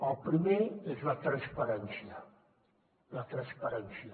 el primer és la transparència la transparència